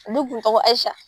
Ale kun tɔgɔ ye AYISIYA.